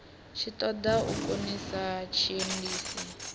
tshi ṱoḓa u khonisa tshiendisi